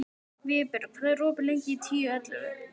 Vébjörg, hvað er opið lengi í Tíu ellefu?